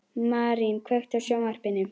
Marín, kveiktu á sjónvarpinu.